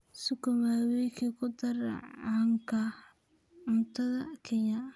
Sukuma wiki waa khudaar caan ka ah cunnada Kenya.